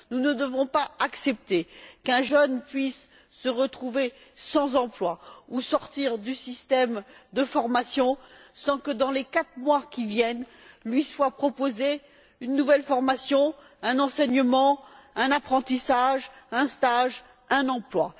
Nous ne devons pas accepter qu'un jeune puisse se retrouver sans emploi ou sortir du système de formation sans que, dans les quatre mois qui viennent, ne lui soit proposé une nouvelle formation, un enseignement, un apprentissage, un stage ou un emploi.